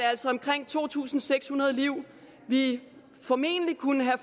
altså omkring to tusind seks hundrede liv vi formentlig kunne have